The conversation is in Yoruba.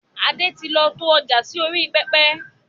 Adé tí lọ to ọjà sì orí pẹpẹ